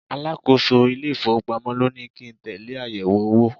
Alákòóso ile-ifowopamo ló ní kí n tẹle àyẹ̀wò owó.